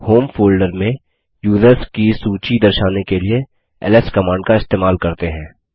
home folder में users की सूची दर्शाने के लिए एलएस कमांड का इस्तेमाल करते हैं